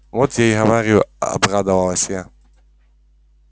вот я и говорю обрадовалась я